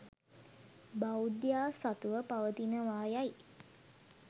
බෞද්ධයා සතුව පවතිනවා යයි